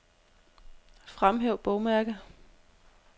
Fremhæv bogmærke.